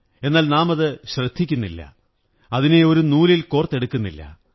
എന്നാൽ നാമത് ശ്രദ്ധിക്കുന്നില്ല അതിനെ ഒരു നൂലിൽ കോര്ത്തെ ടുക്കുന്നില്ല